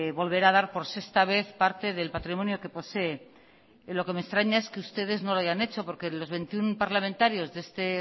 volverá dar por sexta vez parte del patrimonio que posee lo que me extraña es que ustedes no lo hayan hecho porque los veintiuno parlamentarios de este